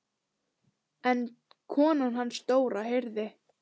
En konan hans Dóra heyrði.